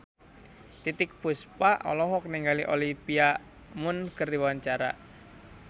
Titiek Puspa olohok ningali Olivia Munn keur diwawancara